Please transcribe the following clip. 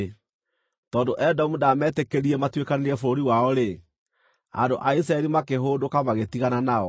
Tondũ Edomu ndaametĩkĩririe matuĩkanĩrie bũrũri wao-rĩ, andũ a Isiraeli makĩhũndũka, magĩtigana nao.